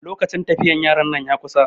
lokacin tafiyar yaran ya kusa